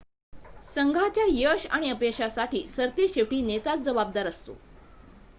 संघाच्या यश आणि अपयशासाठी सरतेशेवटी नेताच जबाबदार असतो